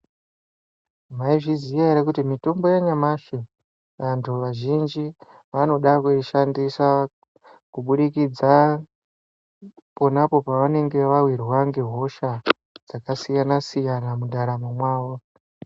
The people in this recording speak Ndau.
Maizviziya ere kuti mitombo yanyamashi vantu vazhinji vanoda kuishandisa. Kubudikidza ponapo pavanenga vavirwa ngehosha dzakasiyana-siyana mundaramo mwavo.